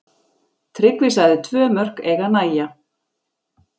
Tryggvi sagði tvö mörk eiga að nægja.